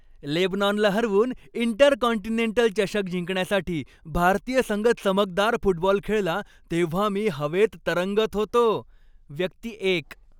लेबनॉनला हरवून इंटरकॉन्टिनेंटल चषक जिंकण्यासाठी भारतीय संघ चमकदार फुटबॉल खेळला तेव्हा मी हवेत तरंगत होतो. व्यक्ती एक